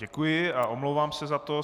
Děkuji a omlouvám se za to.